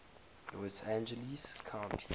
los angeles county